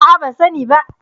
A'a, ban sani ba.